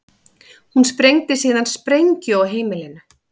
Hún sprengdi síðan sprengju á heimilinu